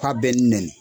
K'a bɛ nɛni